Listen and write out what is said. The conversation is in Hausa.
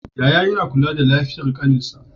Yaya yAna kula da lafiyar ƙanin shi